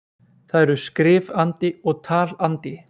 Það eru skrif-andi og tal-andi.